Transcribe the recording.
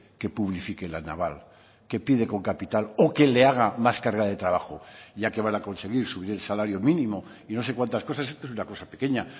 que publifique la naval que pide con capital o que le haga más carga de trabajo ya que van a conseguir subir el salario mínimo y no sé cuántas cosas esto es una cosa pequeña